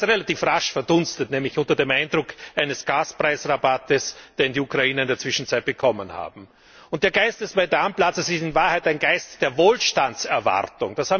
Er ist relativ rasch verdunstet nämlich unter dem Eindruck eines Gaspreisrabatts, den die Ukrainer in der Zwischenzeit bekommen haben. Der Geist des Maidan Platzes ist in Wahrheit ein Geist der Wohlstandserwartung.